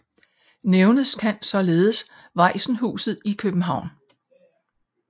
Nævnes kan således Vajsenhuset i København